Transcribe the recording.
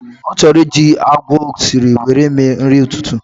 O choro iji agwa osiri were mee nrï ütütü